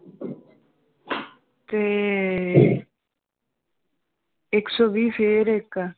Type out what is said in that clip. ਤੇ ਇੱਕ ਸੌ ਵੀਹ ਫੇਰ ਇੱਕ l